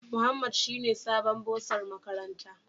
Muhammad shine sabon bursar makaranta.